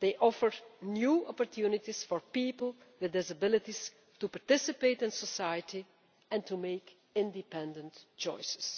they offer new opportunities for people with disabilities to participate in society and to make independent choices.